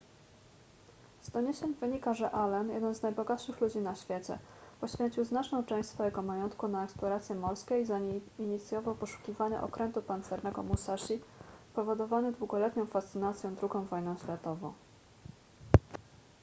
z doniesień wynika że allen jeden z najbogatszych ludzi na świecie poświęcił znaczną część swojego majątku na eksploracje morskie i zainicjował poszukiwania okrętu pancernego musashi powodowany długoletnią fascynacją ii wojną światową